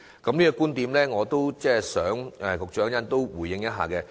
對於這個觀點，我想局長稍後也可以回應一下。